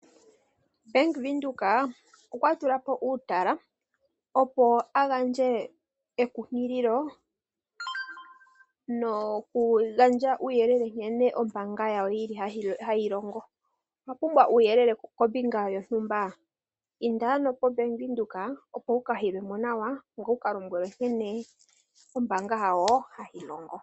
Bank Windhoek okwa tula po uutala opo a gandje ekunkililo, nokugandja uuyelele nkene ombaanga yawo yili hayi longo. Owa pumbwa uuyelele kombinga yontumba? Inda ano poBank Windhoek opo wu ka yilwe mo nawa, ngoye wu ka lombwelwe nkene ombaanga yawo hayi longo.